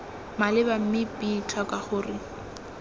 maleba mme b tlhoka gore